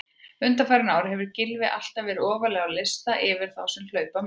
Undanfarin ár hefur Gylfi alltaf verið ofarlega á lista yfir þá sem hlaupa mest.